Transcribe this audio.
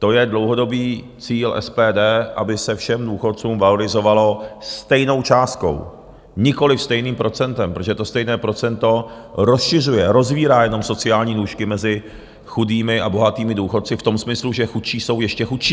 To je dlouhodobý cíl SPD, aby se všem důchodcům valorizovalo stejnou částkou, nikoliv stejným procentem, protože to stejné procento rozšiřuje, rozvírá jenom sociální nůžky mezi chudými a bohatými důchodci v tom smyslu, že chudší jsou ještě chudší.